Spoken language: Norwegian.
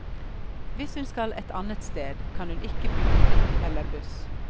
Hvis hun skal et annet sted, kan hun ikke bruke trikk elle buss.